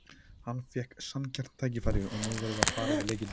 Hann fékk sanngjarnt tækifæri og nú verðum við að fara yfir leikinn.